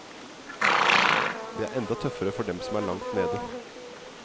Det er enda tøffere for dem som er langt nede.